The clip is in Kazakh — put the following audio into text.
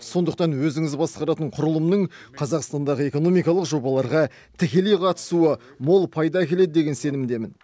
сондықтан өзіңіз басқаратын құрылымның қазақстандағы экономикалық жобаларға тікелей қатысуы мол пайда әкеледі деген сенімдемін